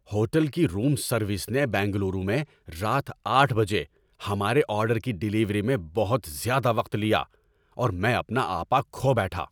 Hotel کی room service نے بنگلورو میں رات آٹھ بجے ہمارے آرڈر کی ڈیلیوری میں بہت زیادہ وقت لیا، اور میں اپنا آپ کھو بیٹھا۔